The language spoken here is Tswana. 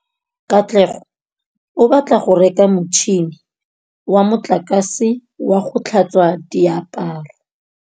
Katlego o batla go reka motšhine wa motlakase wa go tlhatswa diaparo.